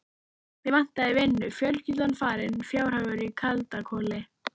Mig vantaði vinnu, fjölskyldan farin, fjárhagur í kaldakoli.